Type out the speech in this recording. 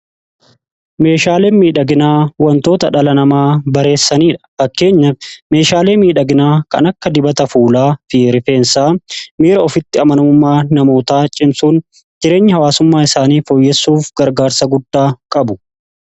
Meeshaaleen miidhaginaa wantoota dhala namaa bareechanidha. Fakkeenya meeshaalee miidhaginaa kan akka dibata fuulaa fi rifeensaa miira ofitti amanamummaa namootaa cimsuun jireenya hawaasummaa isaanii fooyyessuuf gargaarsa guddaa qabu.